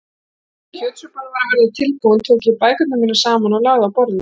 Þegar kjötsúpan var að verða tilbúin tók ég bækurnar mínar saman og lagði á borðið.